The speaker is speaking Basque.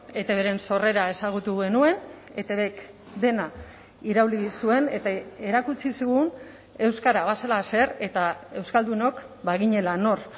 etbren sorrera ezagutu genuen etbk dena irauli zuen eta erakutsi zigun euskara bazela zer eta euskaldunok baginela nor